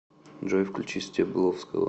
джой включи стебловского